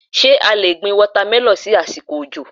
Ṣé a lè gbin wọ́támẹlọ́ ní àsìkò òjò?